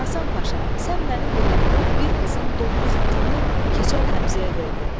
Həsən Paşa, sən mənim yolumda bir qızın dona xatını keçəl Həmzəyə verdin.